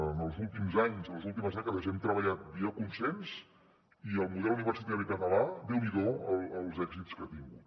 en els últims anys en les últimes dècades hem treballat via consens i el model universitari català déu n’hido els èxits que ha tingut